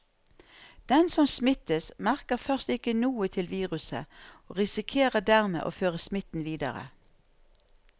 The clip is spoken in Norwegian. Den som smittes, merker først ikke noe til viruset og risikerer dermed å føre smitten videre.